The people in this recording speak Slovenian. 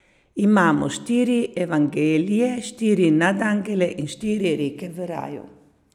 Imamo štiri evangelije, štiri nadangele in štiri reke v raju.